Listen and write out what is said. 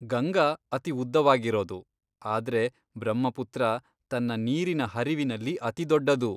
ಗಂಗಾ ಅತಿ ಉದ್ದವಾಗಿರೋದು ಆದ್ರೆ ಬ್ರಹ್ಮಪುತ್ರ ತನ್ನ ನೀರಿನ ಹರಿವಿನಲ್ಲಿ ಅತಿದೊಡ್ಡದು.